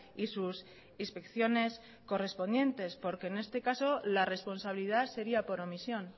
y sus inspecciones correspondientes porque en este caso la responsabilidad sería por omisión